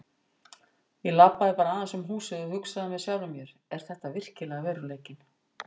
Ég labbaði bara aðeins um húsið og hugsaði með sjálfum mér: Er þetta virkilega veruleikinn?